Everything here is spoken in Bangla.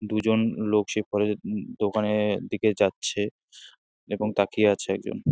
দুজন লোক সেই কলেজ -এর দোকানের দিকে যাচ্ছে এবং তাকিয়ে আছে একজন ।